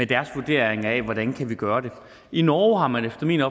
deres vurdering af hvordan vi kan gøre det i norge har man efter min